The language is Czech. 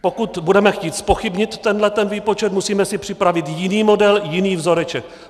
Pokud budeme chtít zpochybnit tenhle ten výpočet, musíme si připravit jiný model, jiný vzoreček.